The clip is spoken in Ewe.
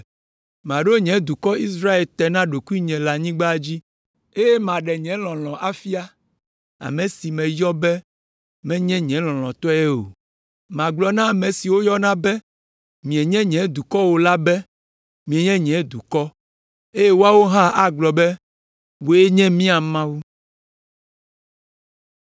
Maɖo nye dukɔ Israel te na ɖokuinye le anyigba dzi, eye maɖe nye lɔlɔ̃ afia ame si meyɔ be ‘Menye nye lɔlɔ̃tɔe o.’ Magblɔ na ame siwo woyɔna be, ‘Mienye nye dukɔ o’ la be ‘Mienye nye dukɔ’; eye woawo hã agblɔ be, ‘Wòe nye mía Mawu.’ ”